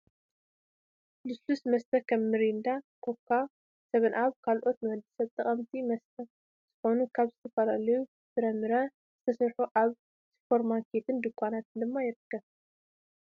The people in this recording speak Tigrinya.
ልስሉስ መስተ ከም ሚሪንዳ፣ ኮካ፣ ሰበንኣብን ካልኦትን ንወዲ ሰብ ጠቀምቲ መስተ ዝኮኑ ካብ ዝተፈላለዩ ፍራምረ ዝተሰርሑ ኣብ ስፖርማርኬትን ድኳናትን ድማ ይርከብ።